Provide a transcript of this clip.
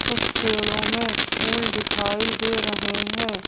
कुछ पेड़ों में फूल दिखाई दे रहे हैं।